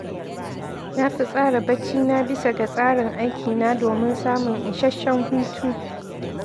Na fi tsara baccina bisa ga tsarin aikina domin samun isasshen hutu.